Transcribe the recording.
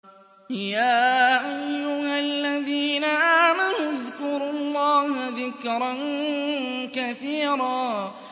يَا أَيُّهَا الَّذِينَ آمَنُوا اذْكُرُوا اللَّهَ ذِكْرًا كَثِيرًا